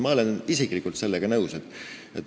Ma olen isiklikult sellega nõus.